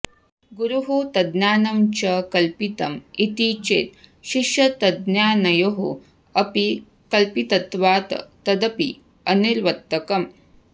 गुरुः तज्ज्ञानं च कल्पितम् इति चेत् शिष्यतज्ज्ञानयोः अपि कल्पितत्वात् तदपि अनिवर्त्तकम्